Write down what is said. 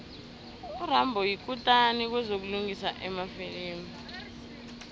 urambo yikutani kwezokulingisa emafilimini